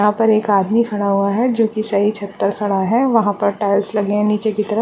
यहाँ पर एक आदमी खड़ा हुआ हैं जो की सही छत पर खड़ा है वहाँ पर टाइल्स लगी हैं नीचे की तरफ।